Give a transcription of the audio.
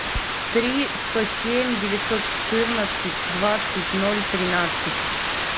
три сто семь девятьсот четырнадцать двадцать ноль тринадцать